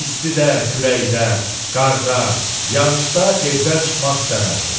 İstidə, küləkdə, qarda, yağışda evdən çıxmaq istəməzdi.